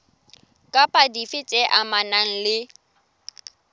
kapa dife tse amanang le